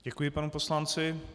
Děkuji panu poslanci.